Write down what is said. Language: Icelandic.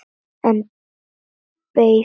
En beið þarna.